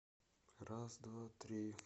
раз два три